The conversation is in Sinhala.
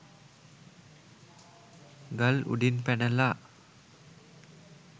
ගල් උඩින් පැනලා